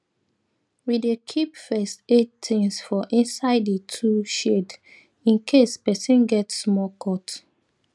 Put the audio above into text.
we dey keep first aid things for inside di tool shed in case person get small cut